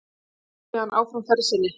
Þeir héldu síðan áfram ferð sinni.